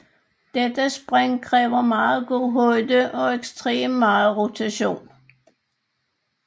Dette spring kræver meget god højde og ekstrem meget rotation